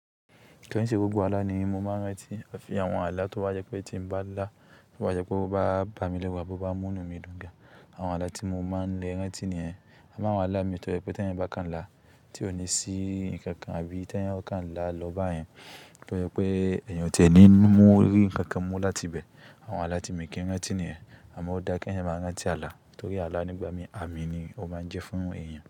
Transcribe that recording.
Kíi ṣe gbogbo Àlà ni mo máa ń rántí? Àfi àwọn Àlà tó bá jẹ́ pé tí mo bá là, tó bá jẹ́ pé ó bá bamí léru àbi ó bá mú inumí dùn gan. Àwọn Àlà tí mo máa ń le rántí nìyẹn. Àmo áwọn Àlà mi tó jẹ pé tí ẹ̀yin bá kan là tí ó ní sí nǹkan àbí tí ẹ̀yin ó kan là lọ́ báyen to je pé ẹ̀yan ò tí è ní mú rí nǹkan mú láti ibẹ̀. Àwọn Àlà tí mi o kì í rántí nìyẹn. Àmọ́ ó dáa kí ẹ̀yin máa rántí Àlà torí Àlà nígbà mí, àmì ni ó máa ń jẹ́ fún èèyàn.